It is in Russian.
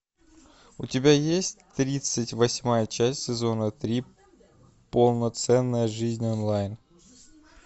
у тебя есть тридцать восьмая часть сезона три полноценная жизнь онлайн